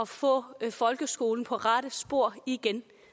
få folkeskolen på rette spor igen